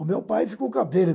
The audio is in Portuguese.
O meu pai ficou cabreiro.